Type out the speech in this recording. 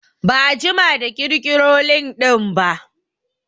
Ba'a jima da ƙirƙiro lindin ba